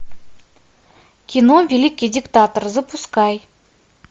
кино великий диктатор запускай